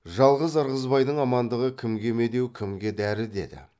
жалғыз ырғызбайдың амандығы кімге медеу кімге дәрі деді